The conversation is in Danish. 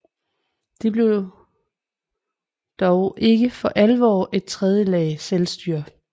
De blev dog ikke for alvor et tredje lag selvstyre